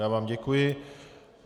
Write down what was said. Já vám děkuji.